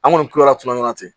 An kɔni kilala tuma min na ten